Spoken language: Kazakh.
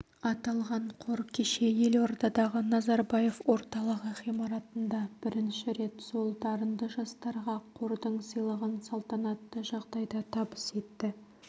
аталған қор кеше елордадағы назарбаев орталығы ғимаратында бірінші рет сол дарынды жастарға қордың сыйлығын салтанатты жағдайда табыс етті